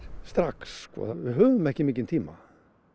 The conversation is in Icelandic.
strax við höfum ekki mikinn tíma